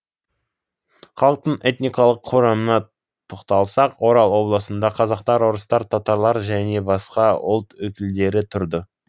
халықтың этникалық құрамына тоқталсақ орал облысында қазақтар орыстар татарлар және басқа ұлт өкілдері тұрды